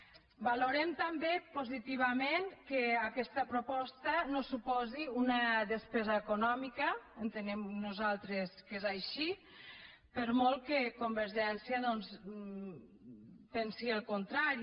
valorem també positivament que aquesta proposta no suposi una despesa econòmica entenem nosaltres que és així per molt que convergència doncs pensi el contrari